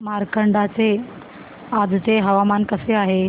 मार्कंडा चे आजचे हवामान कसे आहे